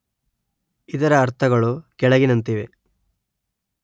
ಇದರ ಅರ್ಥಗಳು ಕೆಳಗಿನಂತಿವೆ